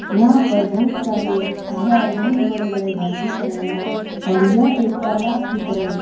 यहां पर बहुत सारे घर बहुत बड़े बड़े घर दिख रहे हैं और यह एक तालाब की तरह--